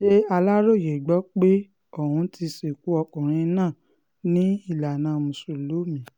ṣà aláròye gbọ́ pé ọ́n ti sìnkú ọkùnrin náà ní ìlànà mùsùlùmí